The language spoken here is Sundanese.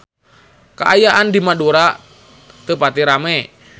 Kaayaan di Madura teu pati rame